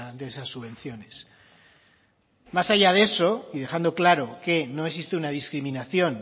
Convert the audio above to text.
de esas subvenciones más allá de eso y dejando claro que no existe una discriminación